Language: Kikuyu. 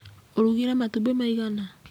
Ũrugire matumbĩ maigana?